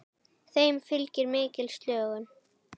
Þeim fylgir mikil slökun.